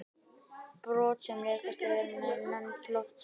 Brot sem rekast á jörðina eru nefnd loftsteinar.